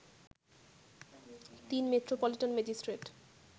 তিন metropolitan magistrate